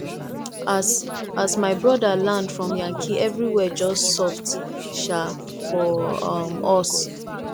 as as my broda land from yankee everywhere just soft um for um us